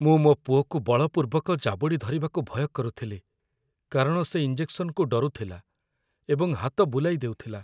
ମୁଁ ମୋ ପୁଅକୁ ବଳପୂର୍ବକ ଜାବୁଡ଼ି ଧରିବାକୁ ଭୟ କରୁଥିଲି କାରଣ ସେ ଇଞ୍ଜେକ୍‌ସନ୍‌କୁ ଡରୁଥିଲା ଏବଂ ହାତ ବୁଲାଇ ଦେଉଥିଲା।